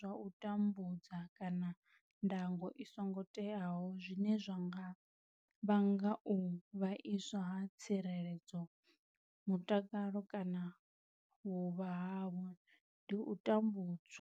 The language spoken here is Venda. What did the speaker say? Zwa u tambudza kana ndango i songo teaho zwine zwa nga vhanga u vhaiswa ha tsireledzo, mutakalo kana vhuvha havho ndi u tambudzwa.